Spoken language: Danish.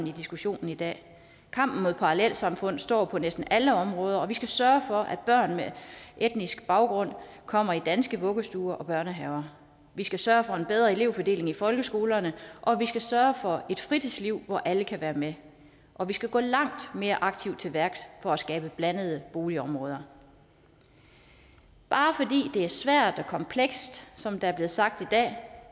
i diskussionen i dag kampen mod parallelsamfundene står på næsten alle områder vi skal sørge for at børn med anden etnisk baggrund kommer i danske vuggestuer og børnehaver vi skal sørge for en bedre elevfordeling i folkeskolerne og vi skal sørge for et fritidsliv hvor alle kan være med og vi skal gå langt mere aktivt til værks for at skabe blandede boligområder bare fordi det er svært og komplekst som der er blevet sagt i dag